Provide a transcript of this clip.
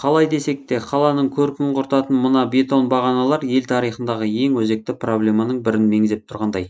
қалай десек те қаланың көркін құртатын мына бетон бағаналар ел тарихындағы ең өзекті проблеманың бірін меңзеп тұрғандай